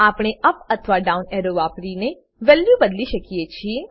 આપણે અપ અથવા down arrow વાપરીને વેલ્યુ બદલી શકીએ છીએ